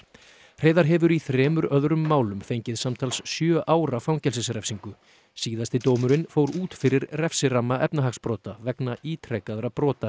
Hreiðar hefur í þremur öðrum málum fengið samtals sjö ára fangelsisrefsingu síðasti dómurinn fór út fyrir refsiramma efnahagsbrota vegna ítrekaðra brota